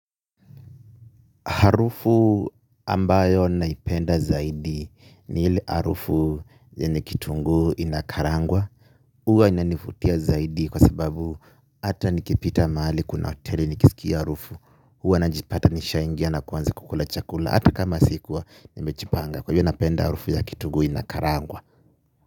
Harufu ambayo naipenda zaidi ni hile harufu yenye kitunguu inakarangwa. Huwa inanivutia zaidi kwa sababu ata nikipita mahali kuna hoteli nikisikia harufu. Huwa najipata nishaingia na kuanza kukula chakula. Hata kama sikuwa nimejipanga kwa hivyo napenda harufu ya kitunguu inakarangwa.